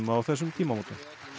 á þessum tímamótum